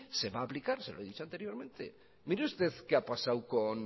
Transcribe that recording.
se va a aplicar se lo he dicho anteriormente mire usted lo que ha pasado con